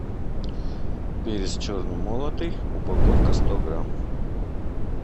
перец черный молотый упаковка сто грамм